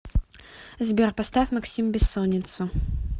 сбер поставь максим бессонница